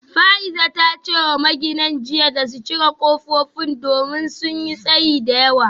Fa’iza ta ce wa magina jiya da su cire kofofin domin sun yi tsayi da yawa